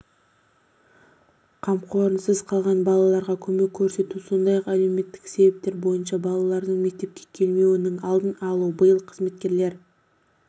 қамқорлығынсыз қалған балаларға көмек көрсету сондай-ақ әлеуметтік себептер бойынша балалардың мектепке келмеуінің алдын-алу биыл қызметкерлер